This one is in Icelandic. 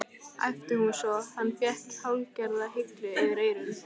æpti hún svo hann fékk hálfgerða hellu fyrir eyrun.